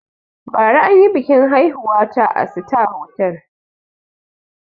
Bara anyi biƙin aihuwa na a sitar hotal